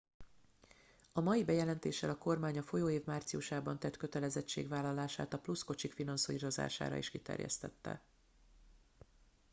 a mai bejelentéssel a kormány a folyó év márciusában tett kötelezettségvállalását a plusz kocsik finanszírozására is kiterjesztette